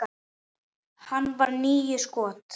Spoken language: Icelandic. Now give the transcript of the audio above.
Hann varði níu skot.